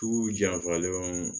Tu janfalen